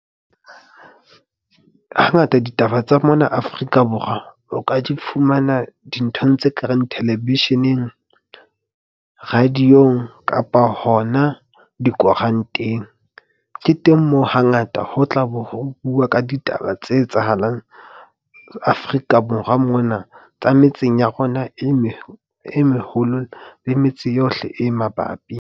Hangata ditaba tsa mona Afrika Borwa o ka di fumana dinthong tse kareng television-eng, radio-ong kapa hona dikoranteng. Ke teng moo hangata ho tla be ho bua ka ditaba tse etsahalang Afrika Borwa mona, tsa metseng ya rona e meng e meholo, le metse yohle e mabapi.